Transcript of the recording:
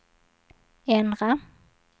ändra